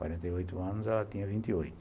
Quarenta e oito anos, ela tinha vinte e oito.